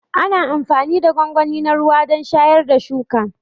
Ana amfani da gwangwani na ruwa don shayar da shuka.